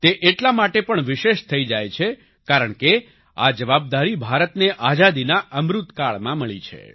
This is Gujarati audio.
તે એટલા માટે પણ વિશેષ થઈ જાય છે કારણ કે આ જવાબદારી ભારતને આઝાદીના અમૃતકાળમાં મળી છે